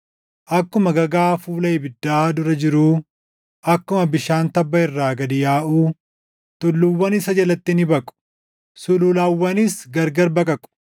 Akkuma gagaa fuula ibiddaa dura jiruu, akkuma bishaan tabba irraa gad yaaʼuu tulluuwwan isa jalatti ni baqu; sululawwanis gargar baqaqu.